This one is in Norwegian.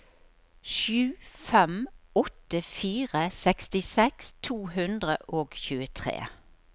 sju fem åtte fire sekstiseks to hundre og tjuetre